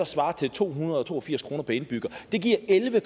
svarer til to hundrede og to og firs kroner per indbygger det giver elleve